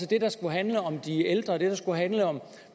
det der skulle handle om de ældre og det der skulle handle om